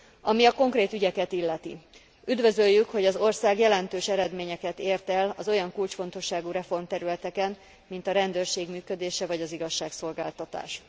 Ami a konkrét ügyeket illeti, üdvözöljük, hogy az ország jelentős eredményeket ért el az olyan kulcsfontosságú reformterületeken, mint a rendőrség működése vagy az igazságszolgáltatás.